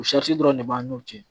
O dɔrɔn de b'an n'u cɛ